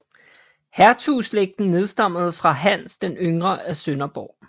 Hertugslægten nedstammede fra Hans den yngre af Sønderborg